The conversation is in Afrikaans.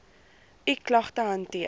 u klagte hanteer